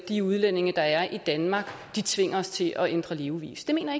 de udlændinge der er i danmark tvinger os til at ændre levevis det mener